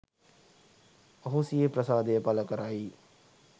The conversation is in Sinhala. ඔහු සිය ප්‍රසාදය පළ කරයි